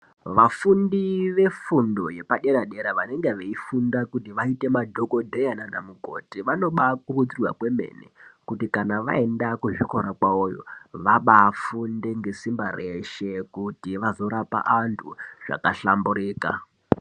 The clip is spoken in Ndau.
Vafundi vefundo yepaderadera vanonga veifunda kuti vazoite vanadhokodheya nanamukoti vanobavakurudzirwa kwemene kuti kana vaenda kuzvikora kwawoyo vabaaafunde nesimba reshe kuti vazorape vantu zvakahlamburuka.